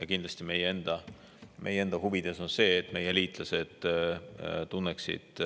Ja kindlasti ka meie enda huvides on see, et meie liitlased tunneksid